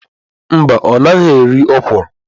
Mba ọ naghị eri okwụrụ.